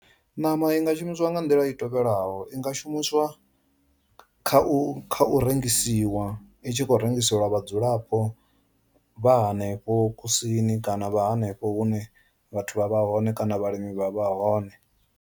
Ṋama i nga shumiswa nga nḓila i tovhelaho i nga shumisiwa kha u kha u rengisiwa i tshi khou rengiselwa vhadzulapo vha hanefho kusini kana vha hanefho hune vhathu vha vha hone kana vhalimi vha vha hone.